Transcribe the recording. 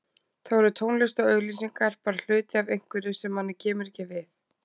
Þá eru tónlist og auglýsingar bara hluti af einhverju sem manni kemur ekki við.